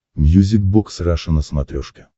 мьюзик бокс раша на смотрешке